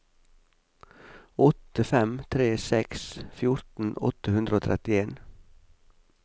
åtte fem tre seks fjorten åtte hundre og trettien